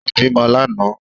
Ó bímọ lánàá